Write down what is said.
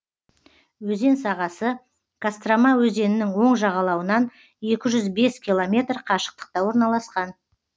өзен сағасы кострома өзенінің оң жағалауынан екі жүз бес километр қашықтықта орналасқан